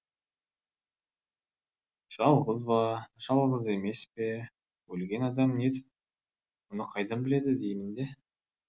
жалғыз ба жалғыз емес пе өлген адам нетіп оны қайдан біледі деймін де